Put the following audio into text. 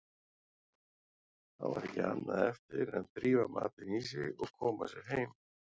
Þá var ekki annað eftir en drífa matinn í sig og koma sér heim.